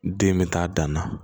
Den bɛ taa dan na